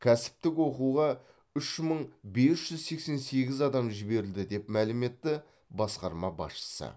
кәсіптік оқуға үш мың бес жүз сексен сегіз адам жіберілді деп мәлім етті басқарма басшысы